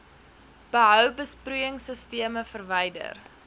behou besproeiingsisteme verwyder